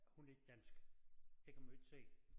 Hun er ikke dansk det kan man jo ikke se